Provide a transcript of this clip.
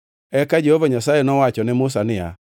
Eka Jehova Nyasaye nowacho ne Musa niya,